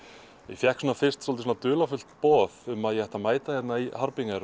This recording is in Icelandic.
ég fékk svona fyrst dálítið dularfullt boð um að ég ætti að mæta hérna í